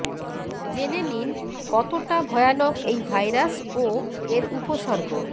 জেনে নিন কতটা ভয়ানক এই ভাইরাস ও এর উপসর্গ